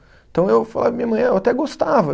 Então eu falava para minha mãe, eu até gostava.